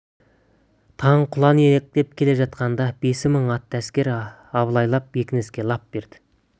таң құланиектеніп келе жатқанда бес мың атты әскер абылайлап бекініске лап берді